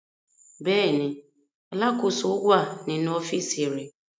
Bẹ́ẹ̀ ni, alákòóso wà nínú ọ́fíísì rẹ̀.